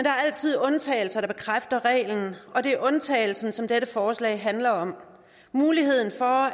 er altid undtagelsen der bekræfter reglen og det er undtagelsen som dette forslag handler om muligheden for